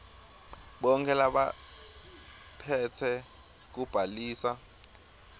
bonkhe labaphetse kubhaliswa